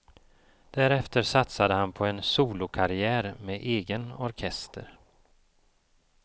Därefter satsade han på en solokarriär med egen orkester.